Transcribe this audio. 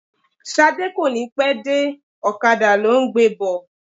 Ṣadé kò ní pẹ́ dé, ọ̀kadà ló ń gbé bọ̀.